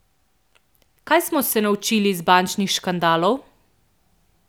Kaj smo se naučili iz bančnih škandalov?